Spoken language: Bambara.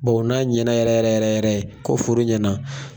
n'a ɲɛna yɛrɛ yɛrɛ yɛrɛ yɛrɛ ko foro ɲɛna